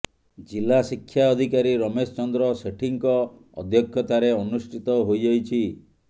ଜିଲ୍ଲା ଶିକ୍ଷା ଅଧିକାରୀ ରମେଶ ଚନ୍ଦ୍ର ସେଠୀଙ୍କ ଅଧ୍ୟକ୍ଷତାରେ ଅନୁଷ୍ଠିତ ହୋଇଯାଇଛି